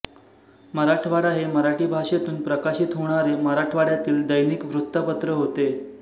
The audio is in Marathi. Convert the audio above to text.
मराठवाडा हे मराठी भाषेतून प्रकाशित होणारे मराठवाड्यातील दैनिक वृत्तपत्र होते